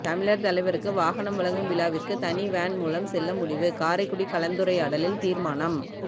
தமிழர் தலைவருக்கு வாகனம் வழங்கும் விழாவிற்கு தனி வேன் மூலம் செல்ல முடிவு காரைக்குடி கலந்துரையாடலில் தீர்மானம்